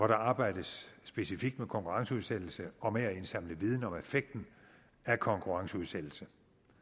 der arbejdes specifikt med konkurrenceudsættelse og med at indsamle viden om effekten af konkurrenceudsættelse